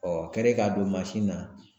o kɛrɛ k'a don mansin na